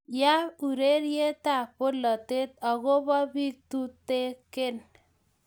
ya urerietab bolatet aku bo biik tutegen